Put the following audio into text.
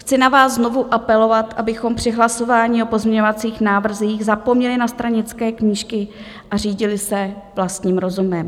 Chci na vás znovu apelovat, abychom při hlasování o pozměňovacích návrzích zapomněli na stranické knížky a řídili se vlastním rozumem.